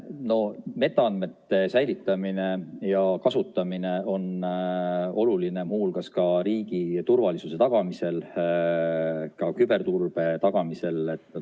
No metaandmete säilitamine ja kasutamine on oluline muu hulgas riigi turvalisuse tagamisel, ka küberturbe tagamisel.